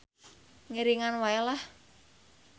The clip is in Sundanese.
Ngiringan wae lah.